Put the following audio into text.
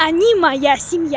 они моя семья